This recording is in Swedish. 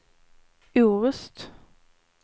Orust